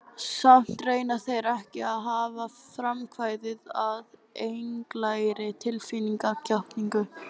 Samt reyna þeir ekki að hafa frumkvæðið að einlægri tilfinningatjáningu.